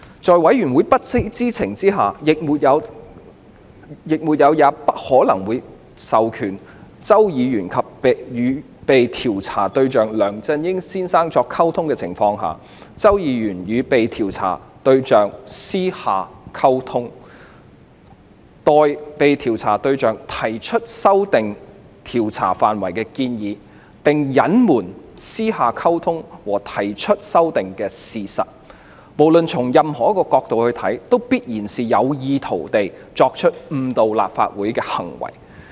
在委員會不知情，亦沒有也不可能授權周議員與被調查對象梁先生作出溝通的情況下，周議員與被調查對象作私下溝通，代被調查對象提出修訂調查範圍的建議，並隱瞞曾私下溝通和提出修訂的事實，不論從任何角度來看，均必然屬於有意圖誤導立法會的行為。